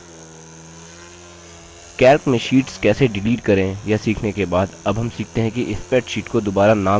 calc में sheets कैसे delete करें यह सीखने के बाद अब हम सीखते हैं कि spreadsheet को दुबारा नाम कैसे दें